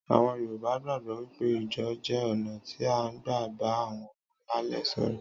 Àwon Yorùbá gbágbò wípé ijó jé oná tí a n gbà bá àwon alálè so'ro